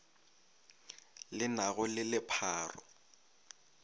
le na go le lepharo